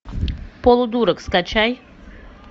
полудурок скачай